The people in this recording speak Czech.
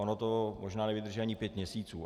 Ono to možná nevydrží ani pět měsíců.